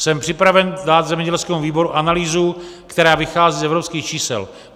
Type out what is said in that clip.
Jsem připraven dát zemědělskému výboru analýzu, která vychází z evropských čísel.